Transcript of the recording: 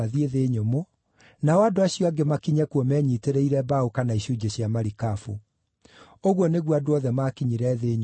Nao andũ acio angĩ makinye kuo menyiitĩrĩire mbaũ kana icunjĩ cia marikabu. Ũguo nĩguo andũ othe maakinyire thĩ nyũmũ matarĩ na ũũru.